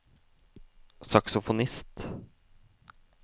saksofonist